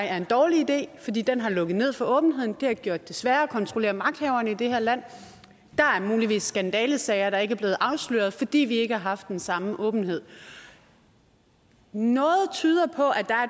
er en dårlig idé fordi den har lukket ned for åbenheden og det har gjort det sværere at kontrollere magthaverne i det her land der er muligvis skandalesager der ikke er blevet afsløret fordi vi ikke har haft den samme åbenhed noget tyder på at der er